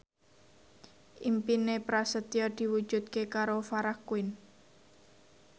impine Prasetyo diwujudke karo Farah Quinn